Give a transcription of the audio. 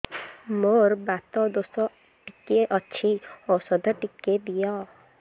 ମୋର୍ ବାତ ଦୋଷ ଟିକେ ଅଛି ଔଷଧ ଟିକେ ଦିଅ